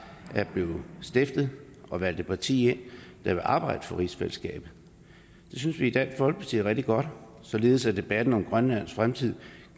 er blevet stiftet og valgt et parti ind der vil arbejde for rigsfællesskabet det synes vi i dansk folkeparti er rigtig godt således at debatten om grønlands fremtid